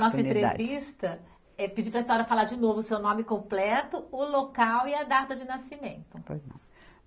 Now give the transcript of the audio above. nossa entrevista, eh pedir para a senhora falar de novo o seu nome completo, o local e a data de nascimento. Pois não.